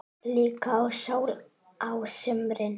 Líka í sól á sumrin.